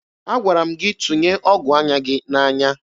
Agwara m gị tụnye ọgụ anya gị n'anya!